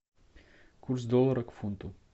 курс доллара к фунту